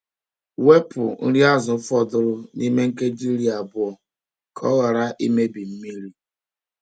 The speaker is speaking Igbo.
Wepu nri azụ fọdụrụ n’ime nkeji iri abụọ ka ọ ghara imebi mmiri.